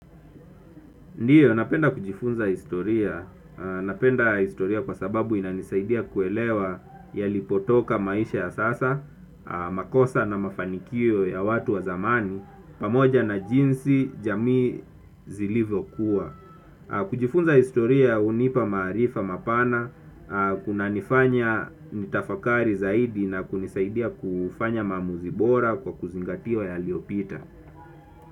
Ndiyo, napenda kujifunza historia, napenda historia kwa sababu inanisaidia kuelewa yalipotoka maisha ya sasa, makosa na mafanikio ya watu wa zamani, pamoja na jinsi jamii zilivyokuwa. Kujifunza historia unipa maarifa mapana, kunanifanya nitafakari zaidi na kunisaidia kufanya maamuzi bora kwa kuzingatia yaliyopita.